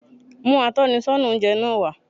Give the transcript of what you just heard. Mú atónisọ́nà oúnje náa wá